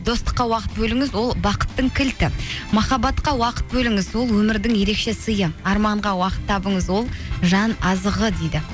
достыққа уақыт бөліңіз ол бақыттың кілті махаббатқа уақыт бөліңіз ол өмірдің ерекше сыйы арманға уақыт табыңыз ол жан азығы дейді